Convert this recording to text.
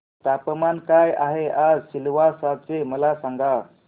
तापमान काय आहे आज सिलवासा चे मला सांगा